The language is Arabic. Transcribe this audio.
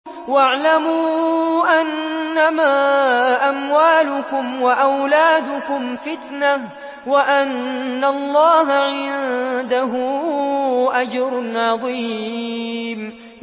وَاعْلَمُوا أَنَّمَا أَمْوَالُكُمْ وَأَوْلَادُكُمْ فِتْنَةٌ وَأَنَّ اللَّهَ عِندَهُ أَجْرٌ عَظِيمٌ